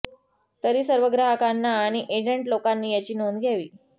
तरी सर्व ग्राहकांना आणि एजंट लोकांनी याची नोंद घ्यावी